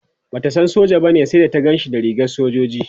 Bata san soja bane sai da ta Ganshi da rigar sojoji